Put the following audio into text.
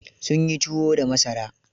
Sun yi tuwo da masara.